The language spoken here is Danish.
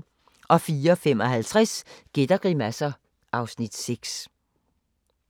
04:55: Gæt og grimasser (Afs. 6)